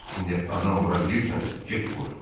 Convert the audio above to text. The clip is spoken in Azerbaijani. İndi adam vura bilirsənsə, get vur.